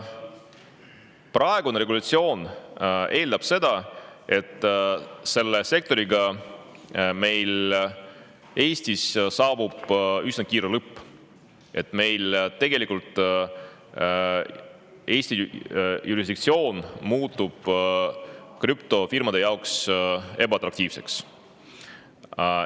Praegune regulatsioon eeldab seda, et sellele sektorile saabub Eestis üsna kiire lõpp, sest tegelikult Eesti jurisdiktsioon muutub krüptofirmade jaoks ebaatraktiivseks.